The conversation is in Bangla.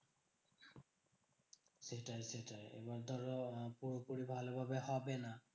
সেটাই সেটাই এবার ধরো পুরোপুরি ভালোভাবে হবে না।